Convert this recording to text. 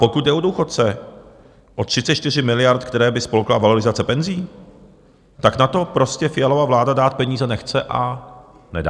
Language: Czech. Pokud jde o důchodce, o 34 miliard, které by spolkla valorizace penzí, tak na to prostě Fialova vláda dát peníze nechce a nedá.